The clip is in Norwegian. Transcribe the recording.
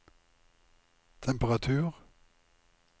temperatur